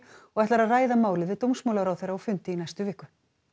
og ætlar að ræða málið við dómsmálaráðherra á fundi í næstu viku